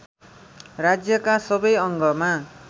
राज्यका सबै अङ्गमा